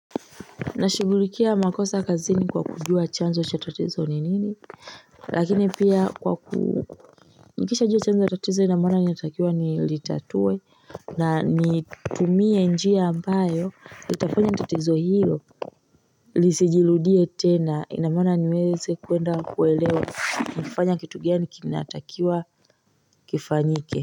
Nashughulikia makosa kazini kwa kujua chanzo cha tatizo ni nini Lakini pia kwa ku Nikisha jua chanzo tatizo inamona niatakiwa nilitatue na nitumie njia ambayo itafanya tatizo hiyo Lisijirudie tena inamona niweze kuenda kuelewa ni kifanya kitu gani kinatakiwa kifanyike.